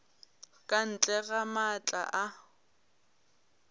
ka ntle ga maatla a